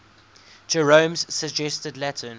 jerome's suggested latin